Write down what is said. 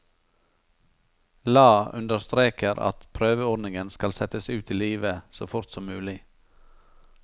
Lae understreker at prøveordningen skal settes ut i live så fort som mulig.